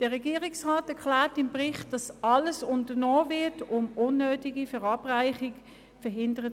Der Regierungsrat erklärt im Bericht, es werde alles unternommen, um unnötige Verabreichungen zu verhindern.